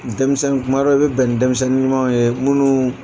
Denmisɛnnin kuma dɔ i bɛ bɛn denmisɛnnin ɲumanw ye munnu